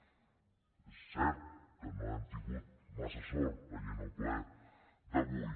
és cert que no hem tingut massa sort veient el ple d’avui